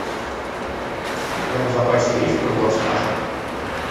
у тебя в запасе есть бульвар страха